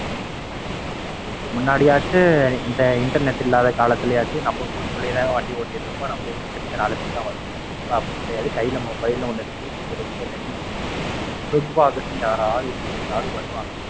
Youtube முன்னாடியாச்சி Internet இல்லாத காலதிலேயச்சி. நம்ம ஊருக்குள்ள வண்டி ஓட்டிக்கிட்டிருப்போம். நம்ம ஊரைச்சுற்றி நாலு பேர் தான் வருவான் இப்ப அப்படி கிடையாது. கையில் மொபைல் ன்னு ஒண்ணு இருக்கு. Internet ன்னு இருக்கு. food walkers ன்னு யாராவது எங்கிருந்தாவது வருவாங்க.